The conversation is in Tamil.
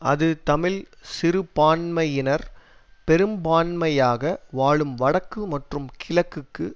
அது தமிழ் சிறுபான்மையினர் பெரும்பான்மையாக வாழும் வடக்கு மற்றும் கிழக்குக்கு